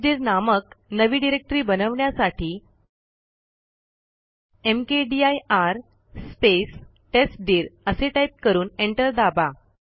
टेस्टदीर नामक नवी डिरेक्टरी बनवण्यासाठी मकदीर स्पेस टेस्टदीर असे टाईप करून एंटर दाबा